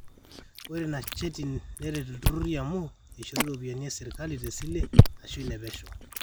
ore ina cheti neret ilturrurri amu eishori iropiyiani esirkali tesile aashu inepesho